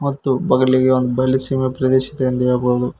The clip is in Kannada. ಮತ್ತು ಬಗಲಿಗೆ ಒಂದ್ ಬಯಲು ಸೀಮೆ ಪ್ರದೇಶ ಇದೆ ಎಂದು ಹೇಳಬಹುದು.